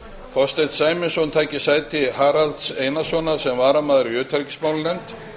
þorsteinn sæmundsson taki sæti haraldar einarssonar sem varamaður í utanríkismálanefnd